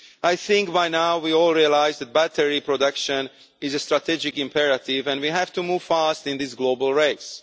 I think by now we all realise that battery production is a strategic imperative, and we have to move fast in this global race.